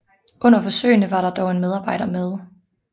Under forsøgene var der dog en medarbejder med